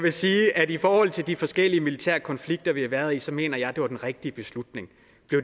vil sige at i forhold til de forskellige militære konflikter vi har været i så mener jeg det var den rigtige beslutning